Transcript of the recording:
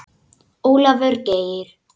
Ólafur Geir.